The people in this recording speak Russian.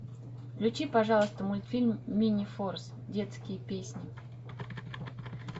включи пожалуйста мультфильм минифорс детские песни